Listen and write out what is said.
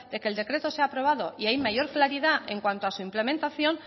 que se ha aprobado y hay mayor claridad en cuanto a su implementación